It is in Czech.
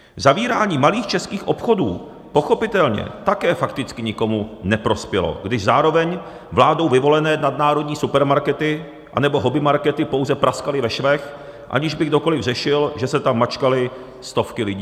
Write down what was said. Zavírání malých českých obchodů pochopitelně také fakticky nikomu neprospělo, když zároveň vládou vyvolené nadnárodní supermarkety anebo hobbymarkety pouze praskaly ve švech, aniž by kdokoli řešil, že se tam mačkaly stovky lidí.